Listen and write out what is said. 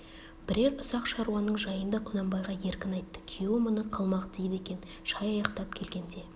бірер ұсақ шаруаның жайын да құнанбайға еркін айтты күйеуі мұны қалмақ дейді екен шай аяқтап келгенде